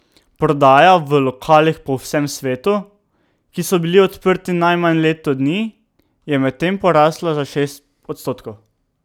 Prodaja v lokalih po vsem svetu, ki so bili odprti najmanj leto dni, je medtem porasla za šest odstotkov.